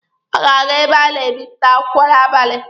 Ọ ga-aga ebe a na-ebịpụta akwụkwọ n'abali.